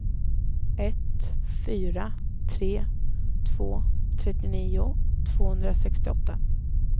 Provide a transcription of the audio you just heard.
ett fyra tre två trettionio tvåhundrasextioåtta